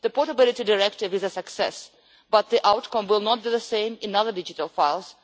The Portability Directive is a success, but the outcome will not be the same in other digital files.